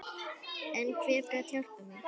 En hver gat hjálpað mér?